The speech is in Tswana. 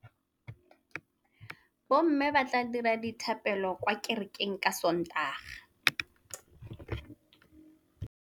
Bommê ba tla dira dithapêlô kwa kerekeng ka Sontaga.